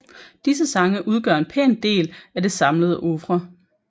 Disse sange udgør en pæn del af det samlede oeuvre